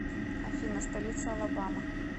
афина столица алабама